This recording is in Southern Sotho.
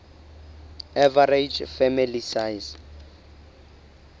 average family size